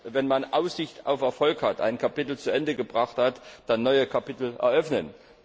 Und erst, wenn man Aussicht auf Erfolg hat, ein Kapitel zu Ende gebracht hat, dann neue Kapitel eröffnen.